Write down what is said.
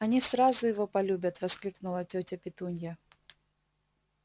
они сразу его полюбят воскликнула тётя петунья